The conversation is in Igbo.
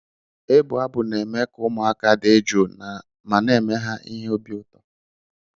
Ịbụ abụ n'eme ka ụmụaka dị jụụ ma na-eme ha ihe obi ụtọ.